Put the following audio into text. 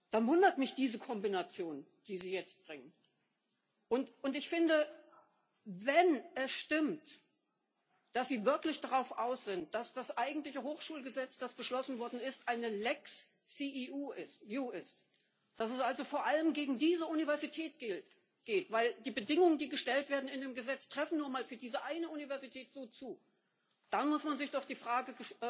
Dann wundert mich diese Kombination, die Sie jetzt bringen, und ich finde, wenn es stimmt, dass Sie wirklich darauf aus sind, dass das eigentliche Hochschulgesetz, das beschlossen worden ist, eine LexCEU ist, dass es also vor allem gegen diese Universität geht, weil die Bedingungen, die in dem Gesetz gestellt werden, nun einmal für diese eine Universität so zutreffen, dann muss man sich doch die Frage